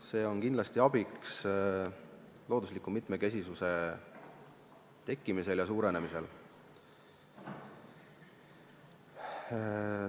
See on kindlasti abiks loodusliku mitmekesisuse tekkimisel ja suurenemisel.